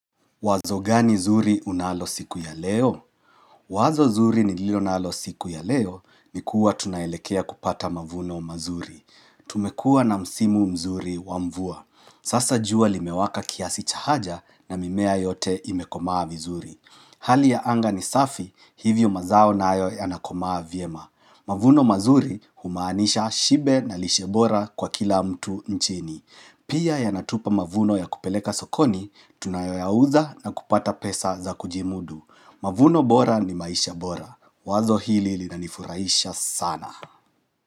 Wazo gani zuri unalo siku ya leo? Wazo zuri nililo nalo siku ya leo ni kuwa tunaelekea kupata mavuno mazuri. Tumekua na msimu mzuri wa mvua. Sasa jua limewaka kiasi cha haja na mimea yote imekomaa vizuri. Hali ya anga ni safi hivyo mazao nayo yanakomaa vyema. Mavuno mazuri humaanisha shibe na lishe bora kwa kila mtu nchini. Pia yanatupa mavuno ya kupeleka sokoni, tunayoyauza na kupata pesa za kujimudu. Mavuno bora ni maisha bora. Wazo hili linanifurahisha sana.